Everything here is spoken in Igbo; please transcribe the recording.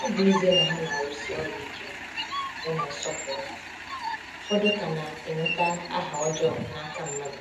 Ọ bụ ezie na ha na-arụsi ọrụ ike ya na nsọpụrụ, ụfọdụ ka na-enweta aha ọjọọ n’aka mmadụ.